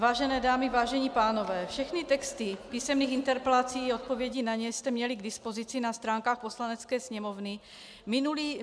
Vážené dámy, vážení pánové, všechny texty písemných interpelací i odpovědí na ně jste měli k dispozici na stránkách Poslanecké sněmovny.